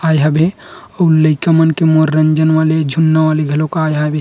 आय हबे अऊ लइका मन के मनोरंजन वाले झून्ना वाले घलोक आय हवे।